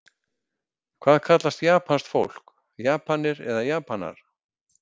Hvað kallast japanskt fólk, Japanir eða Japanar?